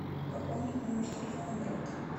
пополнить номер телефона брат